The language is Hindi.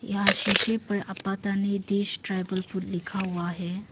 यहा शीशे पर आपातानि दिश ट्राईबल फूड लिखा हुआ है।